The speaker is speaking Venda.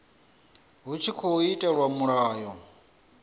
hu tshi tkhou itelwa mulayo